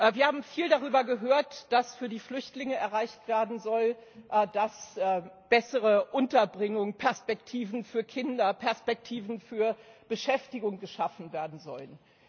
Wir haben viel darüber gehört, was für die Flüchtlinge erreicht werden soll, dass bessere Unterbringung, Perspektiven für Kinder, Perspektiven für Beschäftigung geschaffen werden sollen.